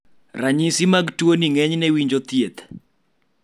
ranyisi mag tuo ni ng'enyne winjo thieth